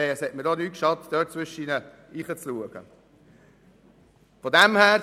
Es hat mir auch nicht geschadet, dort einen Einblick zu erhalten.